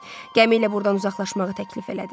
Gəmi ilə burdan uzaqlaşmağı təklif elədi.